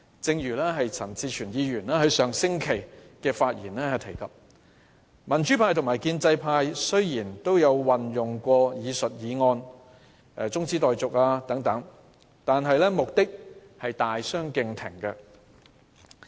正如陳志全議員在上星期發言時提到，民主派和建制派雖然都曾動議中止待續等議案，兩者的目的卻大相逕庭。